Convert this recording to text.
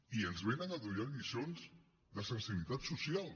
i ens vénen a donar lliçons de sensibilitat social